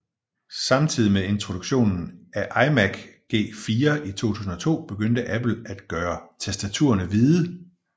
Samtidigt med introduktionen af iMac G4 i 2002 begyndte Apple at gøre tastaturerne hvide